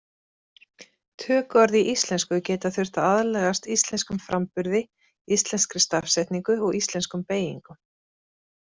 Tökuorð í íslensku geta þurft aðlagast íslenskum framburði, íslenskri stafsetningu og íslenskum beygingum.